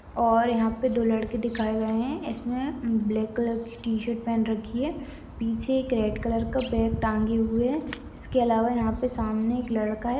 और यहाँ पे दो लड़के दिखाए गए है इसमे ब्लैक कलर की टी-शर्ट पहन रखी है पीछे एक रेड कलर का बैग टाँगे हुए है इसके अलावा यहाँ पे सामने एक लड़का है।